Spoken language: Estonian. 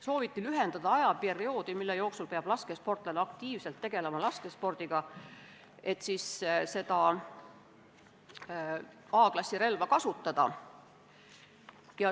Sooviti lühendada ajaperioodi, mille jooksul peab laskesportlane laskespordiga aktiivselt tegelema, et A-klassi relva kasutada.